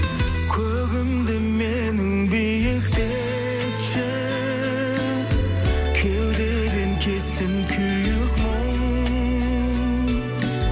көгімді менің биіктетші кеудеден кетсін күйік мұң